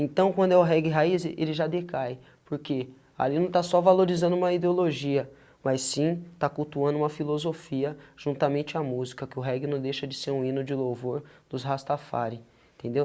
Então, quando é o reggae raiz, ele já decai, porque ali não está só valorizando uma ideologia, mas sim, tá cultuando uma filosofia juntamente à música, que o reggae não deixa de ser um hino de louvor dos Rastafari, entendeu? 0